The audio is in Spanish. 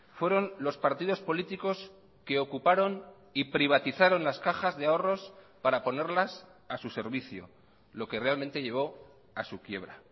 fueron los partidos políticos que ocuparon y privatizaron las cajas de ahorros para ponerlas a su servicio lo que realmente llevó a su quiebra